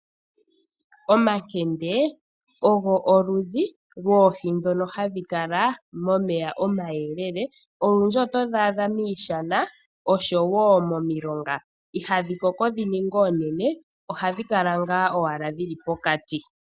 Omakende olwo okudhi lwoohi ndhono hadhi kala momeya omayelele . Olundji otodhi adha miishana oshowo mpmilonga. Ihadhi koko dhininge oonene ohadhi kala ngaa owala dhili pokati .